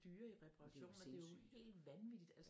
Men det er jo sindssygt